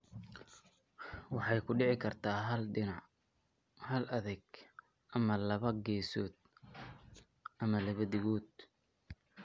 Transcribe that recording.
Waxay ku dhici kartaa hal dhinac (hal dheg) ama laba geesood (labada dhegood).